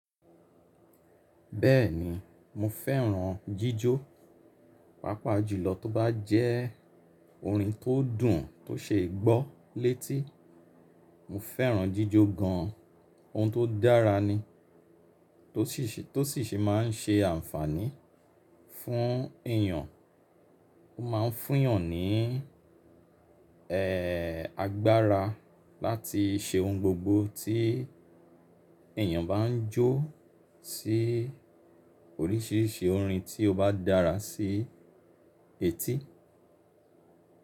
Bẹ́ẹ̀ni mo fẹ́ràn jíjó, pàápàá jùlọ tó bá jẹ́ orin tó dùn tó ṣe é gbọ́ létí. Mo fẹ́ràn jíjó gan an, ohun tó dára ni, tó sì ṣe, tó sì ṣe má ń ṣe ànfàní fún èyàn. Ó ma ń fún yàn ní, ẹ́, agbára láti se ohun gbogbo tí èyàn bá ń jó sí oríṣìíríṣìí orin tí ó bá dára sí etí.